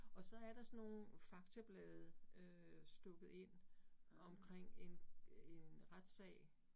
Og så er der sådan nogle faktablade øh stukket ind omkring en en retssag